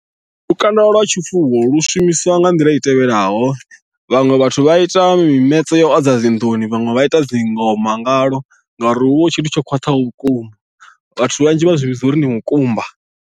Lukanda lwa tshifuwo lu shumiswa nga nḓila i tevhelaho vhaṅwe vhathu vha ita mimetse ya u adza dzi nḓuni vhaṅwe vha ita dzingoma ngalwo ngauri hu vha hu tshithu tsho khwaṱhaho vhukuma vhathu vhanzhi vha zwi vhidza uri ndi mukumba.